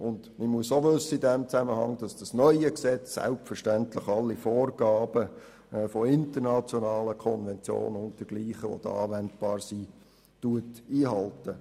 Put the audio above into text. Und man muss in diesem Zusammenhang auch wissen, dass das neue Gesetz selbstverständlich alle Vorgaben von internationalen Konventionen und dergleichen, die da anwendbar sind, einhält.